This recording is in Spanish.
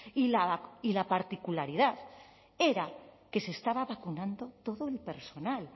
y la particularidad era que se estaba vacunando todo el personal